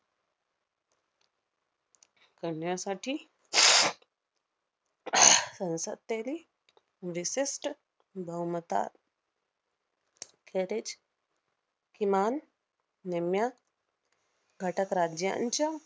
करण्यासाठी संसद्देने विशिष्ट बहुमतात किमान निम्म्या घटकराज्यांच्या